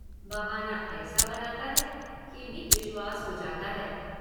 बहाना ऐसा बनाता है कि भी विश्वास हो जाता है।